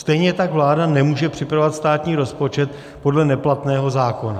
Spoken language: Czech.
Stejně tak vláda nemůže připravovat státní rozpočet podle neplatného zákona.